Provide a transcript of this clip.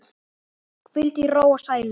Hvíldu í ró og sælu.